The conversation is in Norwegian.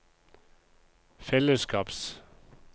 fellesskaps